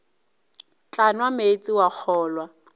tla nwa meetse wa kgolwa